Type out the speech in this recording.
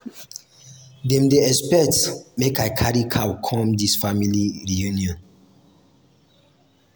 dem dey expect make i carry cow come dis family reunion.